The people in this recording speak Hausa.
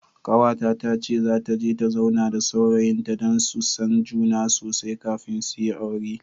Kawata tace zata je ta zauna da saurayin ta, dan su san juna sosai kafin suyi aure.